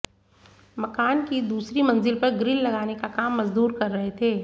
मकान की दूसरी मंजिल पर ग्रिल लगाने का काम मजदूर कर रहे थे